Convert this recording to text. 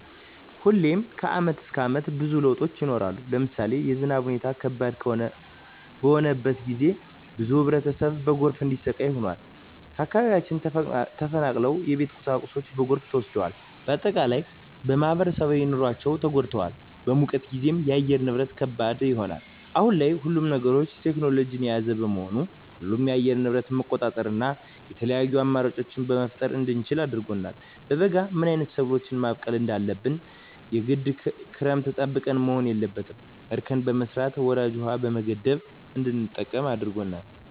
ሁሌም ከአመት እስከ አመት ብዙ ለውጦች ይኖራሉ። ለምሳሌ የዝናብ ሁኔታው ከባድ በሆነበት ጊዜ ብዙ ህብረተሰብ በጎርፍ እንዲሰቃይ ሆኗል። ከአካባቢያቸው ተፈናቅለዋል የቤት ቁሳቁሳቸው በጎርፍ ተወስዷል። በአጠቃላይ በማህበራዊ ኑሯቸው ተጎድተዋል። በሙቀት ጊዜም የአየር ንብረት ከባድ ይሆናል። አሁን ላይ ሁሉም ነገር ቴክኖሎጅን የያዘ በመሆኑ ሁሉንም የአየር ንብረት መቆጣጠር እና የተለያዪ አማራጮች መፍጠር እንድንችል አድርጎናል። በበጋ ምን አይነት ሰብሎችን ማብቀል እንዳለብን የግድ ክረምትን ጠብቀን መሆን የለበትም እርከን በመስራት ወራጅ ውሀዎችን በመገደብ እንድንጠቀም አድርጎናል።